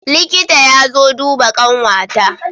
Liƙita ya zo duba ƙanwa ta